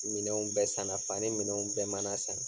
Minɛnw bɛ sanna, fani minɛnw bɛɛ mana san